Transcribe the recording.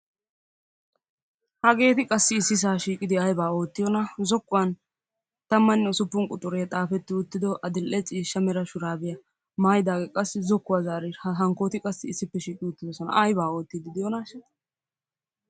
Hageeti qassi ississa shiiqidi aybba ootiyoona, zookuwaan Tammanne ussupun quxure xaafeti uttido addil''e ciishsha mera shurabiyaa maayyidaage qassi zookuwaa zaaridi hankkooti qassi aybba ootidi diyoonashsha!